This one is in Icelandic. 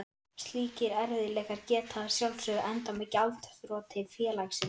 Slíkir erfiðleikar geta að sjálfsögðu endað með gjaldþroti félagsins.